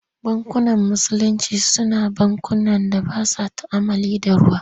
Bankunan Musulinci Su na bankunan da ba sa tu'ammali da ruwa.